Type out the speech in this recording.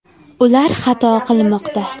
Ular xato qilmoqda!